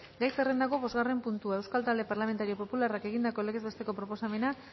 gai zerrendako bosgarren puntua euskal talde parlamentario popularrak egindako legez besteko proposamena